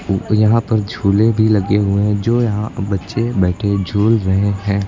और यहां पर झूले भी लगे हुए हैं जो यहां बच्चे बैठे झूल रहे हैं।